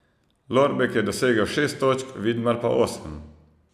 Lorbek je dosegel šest točk, Vidmar pa osem.